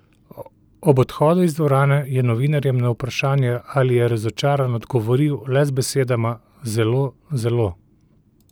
Ob odhodu iz dvorane je novinarjem na vprašanje, ali je razočaran, odgovoril le z besedama: "Zelo, zelo".